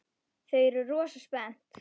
Þau eru rosa spennt.